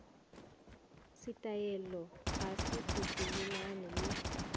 setaele ga se sepelelane le